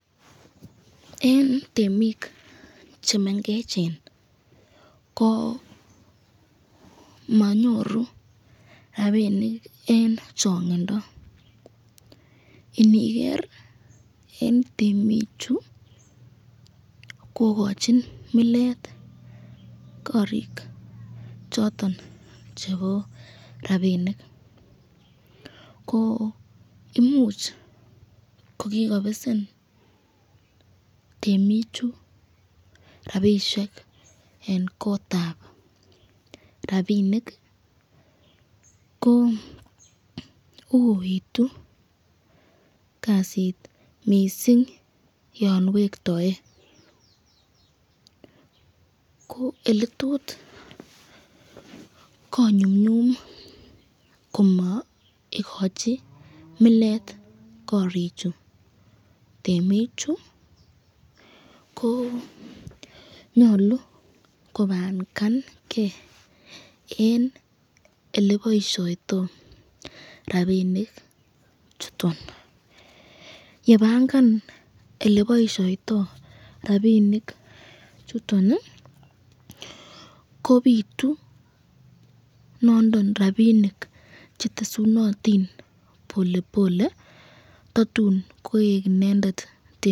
En temik chemengechen koo manyoru rapinik en chong'indo iniker en temichu kokochin milet korik choton chebo rapinik koo imuch kokikobesen temichu rapisiek en kotab rapinik, koo uitu kasit missing yon wektoi, koo ele tot konyumnyum komo ikochi millet korichu temichu koo nyolu kopangange en ele boisioito rapinik chuton, yepangan oleboisioito rapinik chuton ii kobitu nondon rapinik chetesunotin polepole tatun koik inendet temindet.